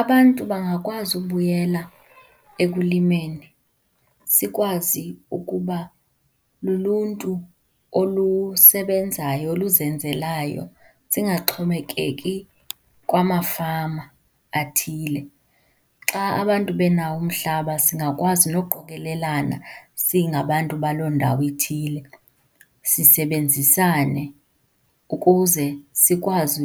Abantu bangakwazi ukubuyela ekulimeni, sikwazi ukuba luluntu olusebenzayo, oluzenzelayo, singaxhomekeki kwamafama athile. Xa abantu benawo umhlaba singakwazi nokuqokelelana singabantu baloo ndawo ithile, sisebenzisane ukuze sikwazi